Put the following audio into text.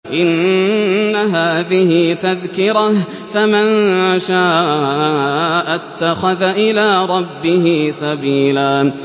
إِنَّ هَٰذِهِ تَذْكِرَةٌ ۖ فَمَن شَاءَ اتَّخَذَ إِلَىٰ رَبِّهِ سَبِيلًا